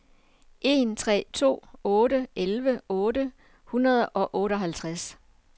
en tre to otte elleve otte hundrede og otteoghalvtreds